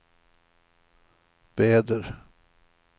väder